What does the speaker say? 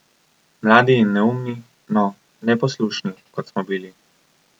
Mladi in neumni, no, neposlušni, kot smo bili.